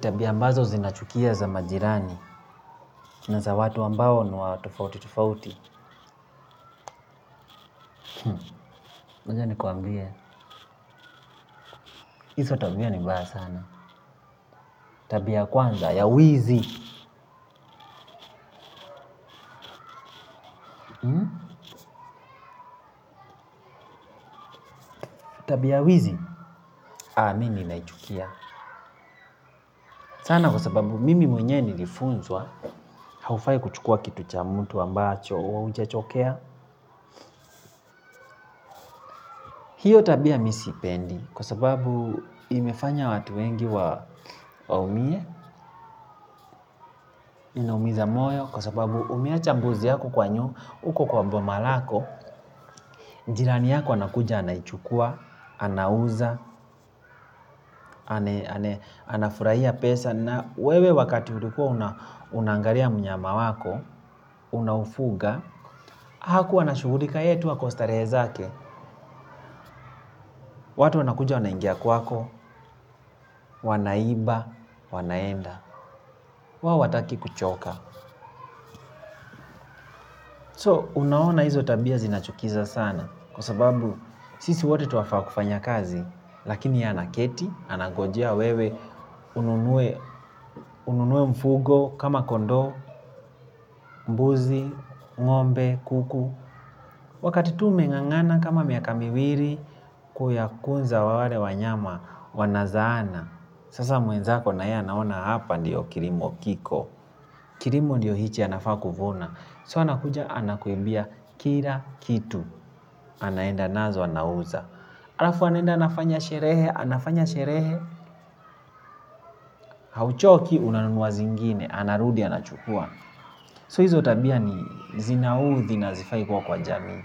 Tabia ambazo zinachukia za majirani na za watu ambao ni wa tofauti tofauti. Ngoja nikwambie Iso tabia ni mbaya sana. Tabia ya kwanza ya wizi. Tabia ya wizi. Aa mi ninaichukia sana kwa sababu mimi mwenye nirifunzwa. Haufai kuchukua kitu cha mtu ambacho haujachokea. Hiyo tabia mi siipendi. Kwa sababu imefanya watu wengi waumie. Inaumiza moyo. Kwa sababu umeacha mbuzi yako kwa nyu uko kwa mboma lako jirani yako anakuja anaichukua, anauza, anafurahia pesa. Na wewe wakati ulikua unaangaria mnyama wako, unaufuga. Hakuwa anashughulika yeye tu ako starehe zake. Watu wanakuja wanaingia kwako, wanaiba, wanaenda. Wao wataki kuchoka So unaona hizo tabia zinachukiza sana. Kwa sababu sisi wote twafaa kufanya kazi. Lakini ye anaketi, anangojea wewe. Ununue mfugo kama kondoo, mbuzi, ng'ombe, kuku. Wakati tu umeng'ang'ana kama miaka miwiri. Kuyakunza wale wanyama wanazaana. Sasa mwenzako na yeye anaona hapa ndio kirimo kiko. Kirimo ndio hichi anafaa kuvuna So anakuja anakuimbia kila kitu. Anaenda nazo anauza. Alafu anenda anafanya sherehe. Anafanya sherehe. Hauchoki unanunua zingine. Anarudi anachukua So hizo tabia ni zinauthi na hazifai kuwa kwa jamii.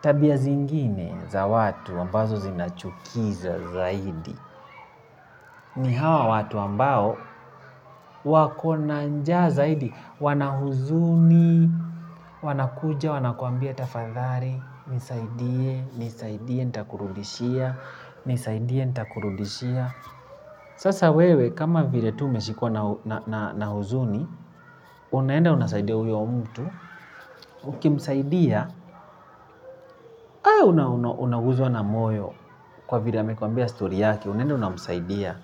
Tabia zingine za watu ambazo zinachukiza zaidi. Ni hawa watu ambao wako na njaa zaidi. Wana huzuni, wanakuja, wanakuambia tafadhari. Nisaidie, nisaidie, nitakurudishia. Nisaidie, nitakurudishia. Sasa wewe kama vile tu umeshikwa na huzuni. Unaenda unasaidia uyo mtu. Ukimsaidia, unaguzwa na moyo kwa vila amekwambia story yake, unaenda unamsaidia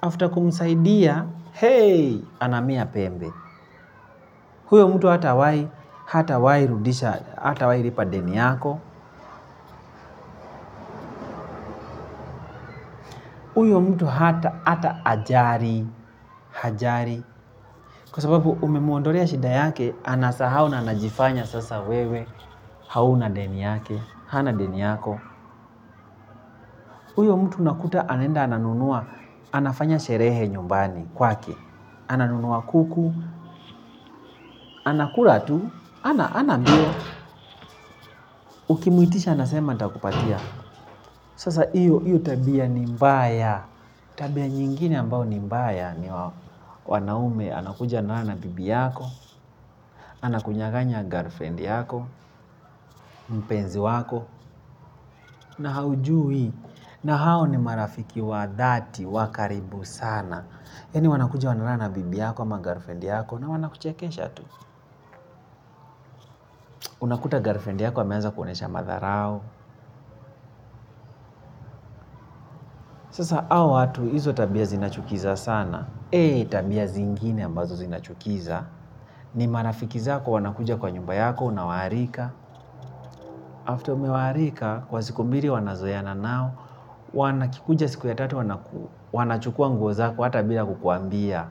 After kumsaidia, hei, anamea pembe. Huyo mtu hatawai, hatawai rudisha, hatawai ripa deni yako uyo mtu hata, ata ajari, hajari. Kwa sababu umemuondorea shida yake, anasahau na, anajifanya sasa wewe. Hauna deni yake, hana deni yako. Uyo mtu unakuta anaenda ananunua, anafanya sherehe nyumbani kwake, ananunua kuku, anakula tu, ana, ana mbio, ukimwitisha anasema nitakupatia. Sasa iyo, iyo tabia ni mbaya, tabia nyingine ambao ni mbaya ni wanaume, anakuja analala na bibi yako, anakunyaganya girlfriend yako, mpenzi wako, na haujui, na hao ni marafiki wa dhati wa karibu sana. Yani wanakuja wanalala na bibi yako ama girlfriend yako na wanakuchekesha tu. Unakuta girlfriend yako ameanza kuonesha madharau. Sasa ao watu izo tabia zinachukiza sana. Ee tabia zingine ambazo zinachukiza. Ni marafiki zako wanakuja kwa nyumba yako unawaarika. After umewaarika, kwa siku mbiri wanazoeana nao. Wanakikuja siku ya tatu wanachukua nguo zako ata bila kukuambia.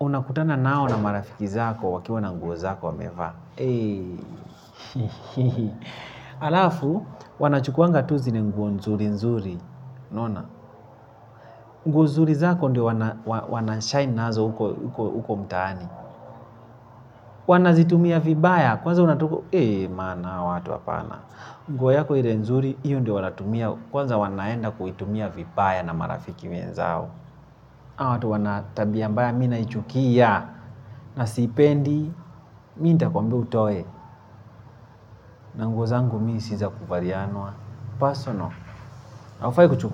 Unakutana nao na marafiki zako wakiwa na nguo zako wamevaa. Alafu, wanachukuanga tu zile nguo nzuri nzuri unaona, nguo zuri zako ndio wanashine nazo uko mtaani. Wanazitumia vibaya, kwanza unatuko, ee man awa watu apana. Nguo yako ile nzuri, iyo ndio wanatumia. Kwanza wanaenda kuitumia vibaya na marafiki wenzao awa watu wana tabia mbaya, mi naichukia na siipendi. Mi ntakwambia utoe, na nguo zangu mi si za kuvarianwa Pasono aufai kuchu.